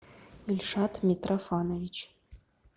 ильшат митрофанович